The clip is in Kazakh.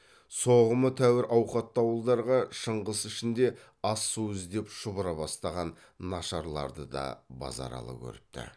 соғымы тәуір ауқатты ауылдарға шыңғыс ішінде ас су іздеп шұбыра бастаған нашарларды да базаралы көріпті